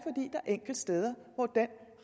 enkelte steder hvor den